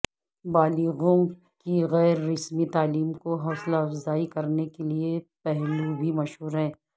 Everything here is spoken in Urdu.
بالغوں کی غیر رسمی تعلیم کو حوصلہ افزائی کرنے کے لئے پہلو بھی مشہور ہے